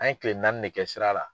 An ye kile naani de kɛ sira la.